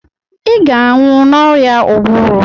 ị ga-anwụ n'oria ụbụrụ